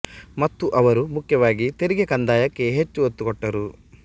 ಮತ್ತು ಅವರು ಮುಖ್ಯವಾಗಿ ತೆರಿಗೆ ಕಂದಾಯಕ್ಕೆ ಹೆಚ್ಚು ಒತ್ತು ಕೊಟ್ಟರು